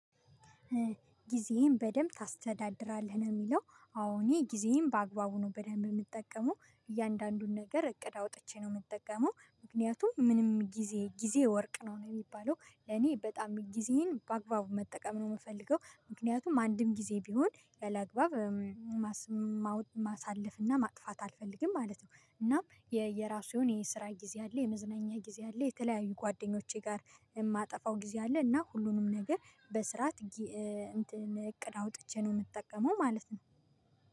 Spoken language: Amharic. ጊዜህን በደንብ ታስተዳድራለህ ነው የሚለው? አሁን ጊዜህን በአግባቡ ነው በደንብ የምጠቀመው እያንዳንዱን ነገር እቅድ አውጥቼ ነው የምጠቀመው። ምክንያቱም ምንም ጊዜ ጊዜ ወርቅ ነው የሚባለው። ለኔ በጣም ጊዜን በአግባቡ መጠቀም ነው የምፈልገው ምክንያቱም አንድም ጊዜ ቢሆን ያላግባብ ማሳለፍና ማጥፋት አልፈልግም ማለት ነው። እናም የየራሱ የስራ ጊዜ አለ የመዝነኛ ጊዜ አለ የተለያዩ ጓደኞቼ ጋር የማጠፋው ጊዜ አለ። እና ሁሉንም ነገር በስርዓት እቅድ አውጥቼ ነው የምጠቀመው ማለት ነው።